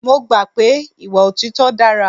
Mo gbà pé ìwà òtítọ́ dára.